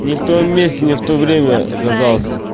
не в том месте не в то время оказался